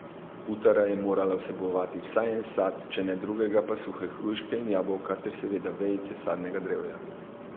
Butara je morala vsebovati vsaj en sad, če ne drugega pa suhe hruške in jabolka, ter seveda vejice sadnega drevja.